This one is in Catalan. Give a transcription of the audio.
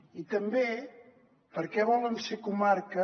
i també perquè volen ser comarca